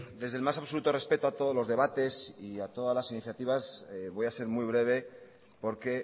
desde el más absoluto respeto a todos los debates y a todas las iniciativas voy a ser muy breve porque